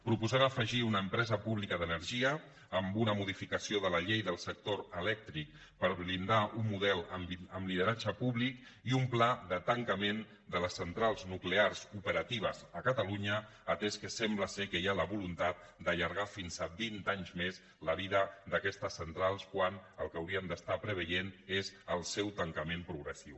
proposem afegir una empresa pública d’energia amb una modificació de la llei del sector elèctric per blindar un model amb lideratge públic i un pla de tancament de les centrals nuclears operatives a catalunya atès que sembla ser que hi ha la voluntat d’allargar fins a vint anys més la vida d’aquestes centrals quan el que hauríem d’estar preveient és el seu tancament progressiu